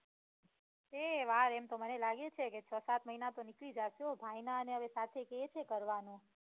એ વાર એમ તો મને લાગે છે કે છ સાત મહિના તો નીકળી જાશે હો ભાઈ ના ને અવે કે છે સાથે કરવાનું